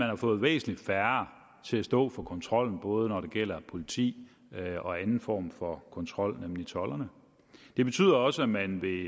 har fået væsentlig færre til at stå for kontrollen både når det gælder politi og anden form for kontrol nemlig tolderne det betyder også at man ved